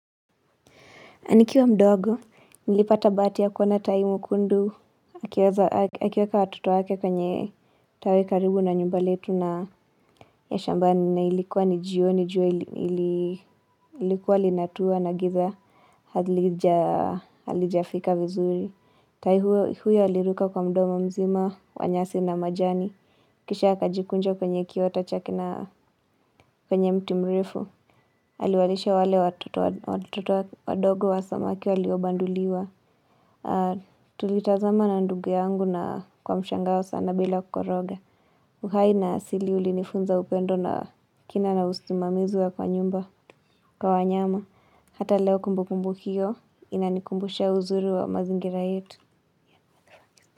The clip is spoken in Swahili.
Nikiwa mdogo, nilipata bahati ya kuona taimu kundu, akiweza akiweka watoto wake kwenye tawi karibu na nyumba letu na ya shambani na ilikuwa ni jioni jua ili ili ilikua linatua na giza, halija halijafika vizuri. Tai huo huyo aliruka kwa mdomo mzima, kwanyasi na majani. Kisha akajikunja kwenye kiota chakina penye mti mrefu. Aliwalisha wale watoto watoto wa dogo wa samaki waliobanduliwa. Tulitazama na ndugu yangu na kwa mshangao sana bila koroga. Uhai na asili ulinifunza upendo na kina na usimamizi wa kwa nyumba. Kwa wanyama, hata leo kumbukumbu hio, inanikumbusha uzuri wa mazingira yetu.